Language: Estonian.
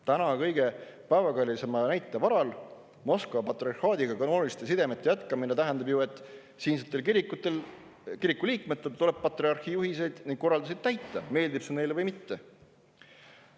Tänase kõige päevakajalisema näite varal ilmneb, et Moskva patriarhaadiga kanooniliste sidemete jätkamine tähendab ju, et siinsetel kirikuliikmetel tuleb patriarhi juhiseid ning korraldusi täita, meeldib see neile või mitte.